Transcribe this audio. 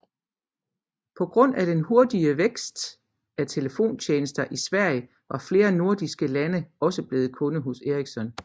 På grund af den hurtige vækst af telefontjenester i Sverige var flere nordiske lande også blevet kunder hos Ericsson